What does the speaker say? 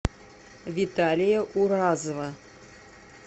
виталия уразова